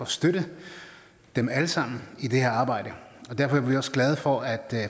støtte dem alle sammen i det her arbejde derfor er vi også glade for at